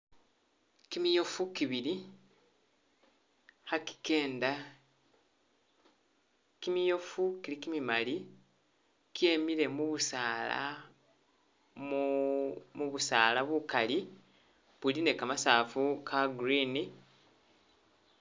Kimiyofu kibili khaki kenda, kimiyofu kili kimimali kyemile mubusaala mu mubusaala bukali buli ne kamasafu ka green